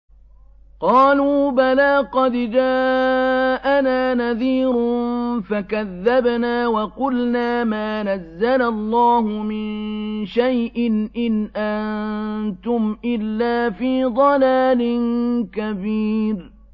قَالُوا بَلَىٰ قَدْ جَاءَنَا نَذِيرٌ فَكَذَّبْنَا وَقُلْنَا مَا نَزَّلَ اللَّهُ مِن شَيْءٍ إِنْ أَنتُمْ إِلَّا فِي ضَلَالٍ كَبِيرٍ